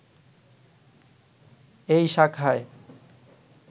এই শাখায়